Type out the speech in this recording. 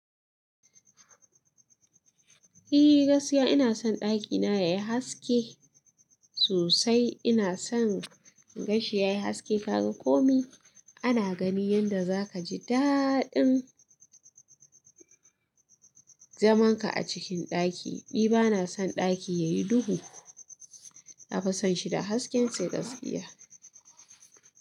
Eh gaskiya ina son ɗakina yayi haske sosai. Ina son gashi yayi haske. Kaga komai ana gani yanda zaka ji daɗin zamanka a cikin ɗaki. Ni bana son ɗaki yayi duhu. Na fi son shi da haske sai gaskiya.